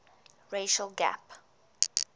racial gap